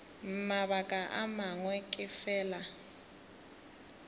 mabaka a mangwe ke fela